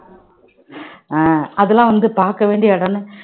அஹ் அதெல்லாம் வந்து பார்க்க வேண்டிய இடம்ன்னு